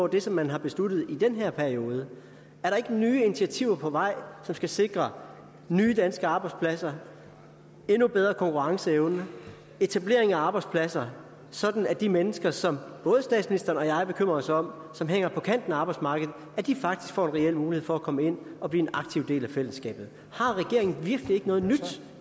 det som man har besluttet i den her periode er der ikke nye initiativer på vej som skal sikre nye danske arbejdspladser endnu bedre konkurrenceevne og etablering af arbejdspladser sådan at de mennesker som både statsministeren og jeg bekymrer os om og som hænger på kanten af arbejdsmarkedet faktisk får en reel mulighed for at komme ind og blive en aktiv del af fællesskabet har regeringen virkelig ikke noget nyt